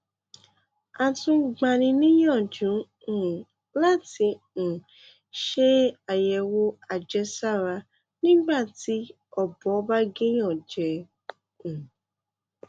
a tún ń gbani níyànjú um láti um ṣe àyẹwò àjẹsára nígbà tí ọbọ bá gé um èèyàn jẹ